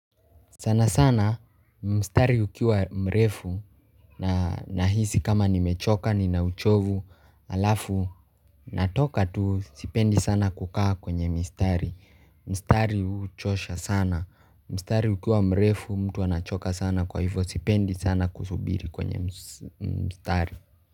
Sana sana mstari ukiwa mrefu na nahisi kama nimechoka nina uchovu halafu natoka tu sipendi sana kukaa kwenye mistari. Mistari huchosha sana. Mstari ukiwa mrefu mtu anachoka sana kwa hivyo sipendi sana kusubiri kwenye mstari.